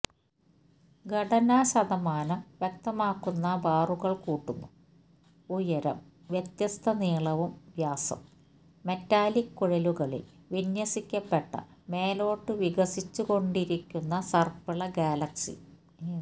ഘടന ശതമാനംവ്യക്തമാക്കുന്നബാറുകള്കൂട്ടുന്നു ഉയരം വ്യത്യസ്ത നീളവും വ്യാസം മെറ്റാലിക് കുഴലുകളിൽ വിന്യസിക്കപ്പെട്ട മേലോട്ടു വികസിച്ചുകൊണ്ടിരിക്കുന്ന സർപ്പിളഗാലക്സി